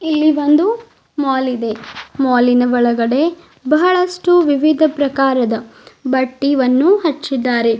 ಇಲ್ಲಿ ಬಂದು ಮಾಲ್ ಇದೆ ಮಾಲಿನ ಒಳಗಡೆ ಬಹಳಷ್ಟು ವಿವಿಧ ಪ್ರಕಾರದ ಬಟ್ಟಿವನ್ನು ಹಚ್ಚಿದ್ದಾರೆ.